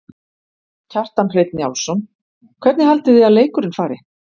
Kjartan Hreinn Njálsson: Hvernig haldið þið að leikurinn fari?